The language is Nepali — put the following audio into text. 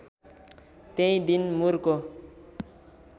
त्यही दिन मुरको